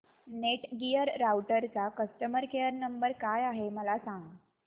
Netgear राउटरचा customer care number काय आहे मला सांग